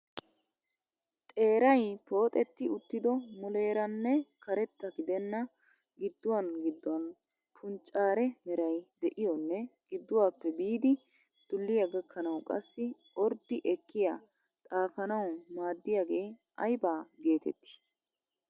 Xeeray pooxetti uttido muleeraanne karetta gidenna gidduwan gidduwan punccare meray de'iyonne gidduwappe biidi dulliya gakkanawu qassi orddi ekkiya xaafanawu maaddiyagee ayba geetettii?